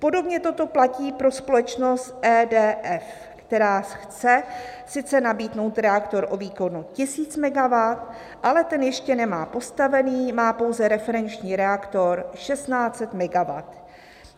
"Podobně toto platí pro společnost EDF, která chce sice nabídnout reaktor o výkonu 1000 MW, ale ten ještě nemá postavený, má pouze referenční reaktor 1600 MW.